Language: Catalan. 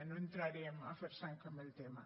no entrarem a fer sang amb el tema